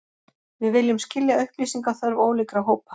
Við viljum skilja upplýsingaþörf ólíkra hópa